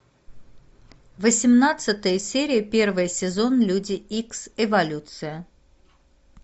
восемнадцатая серия первый сезон люди икс эволюция